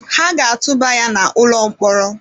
Ha ga-atụba ya n’ụlọ mkpọrọ.